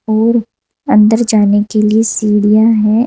और अंदर जाने के लिए सीढ़ियां हैं।